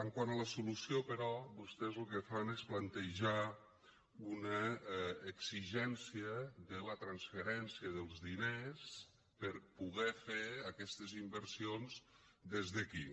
quant a la solució però vostès lo que fan és plantejar una exigència de la transferència dels diners per poder fer aquestes inversions des d’aquí